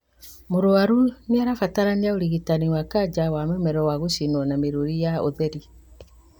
Mũrwaru nĩarabatara ũrigitani wa kanja wa mũmero wa gũcinwo na mĩrũri ya ũtheri